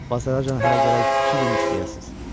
Bazara hələ gərək iki gün işləyəsiz.